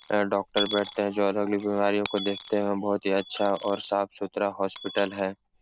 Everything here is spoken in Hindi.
ए डॉक्टर बैठते है जो अलगली बीमारियों को देखते हैं। बोहोत ही अच्छा और साफ-सुथरा हॉस्पिटल है।